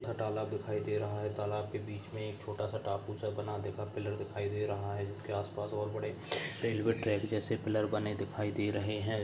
तालाब दिखाई दे रहा है। तालाब के बीच मे एक छोटा सा टापू सा बना देखा पिल्लर दिखाई दे रहा है। जिसके आसपास और बड़े रेल्वे ट्रॅक जैसे पिल्लर बने दिखाई दे रहे है।